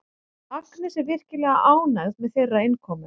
Agnes er virkilega ánægð með þeirra innkomu.